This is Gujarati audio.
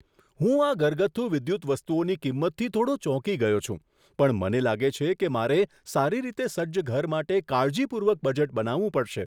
હું આ ઘરગથ્થુ વિદ્યુત વસ્તુઓની કિંમતથી થોડો ચોંકી ગયો છું, પણ મને લાગે છે કે મારે સારી રીતે સજ્જ ઘર માટે કાળજીપૂર્વક બજેટ બનાવવું પડશે.